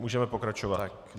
Můžeme pokračovat.